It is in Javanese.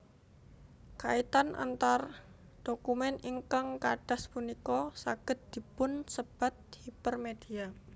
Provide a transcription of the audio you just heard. Kaitan antar dokumen ingkang kadas punika saged dipunsebat hipermedia